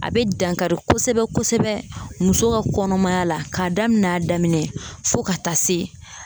A be dankari kosɛbɛ kosɛbɛ muso ka kɔnɔmaya la k'a daminɛ a daminɛ fɔ ka taa se